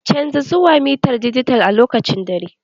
Canja zuwa mitar dijital a lokacin dare!